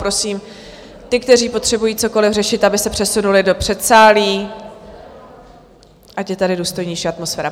Prosím ty, kteří potřebuji cokoliv řešit, aby se přesunuli do předsálí, ať je tady důstojnější atmosféra.